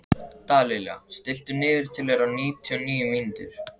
Dallilja, stilltu niðurteljara á níutíu og níu mínútur.